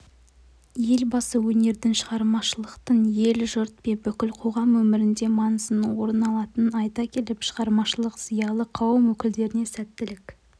елбасы өнердің шығармашылықтыңел-жұрт пен бүкіл қоғам өміріндемаңызды орын алатынын айта келіп шығармашылық зиялы қауым өкілдеріне сәттілік